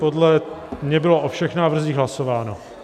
Podle mě bylo o všech návrzích hlasováno.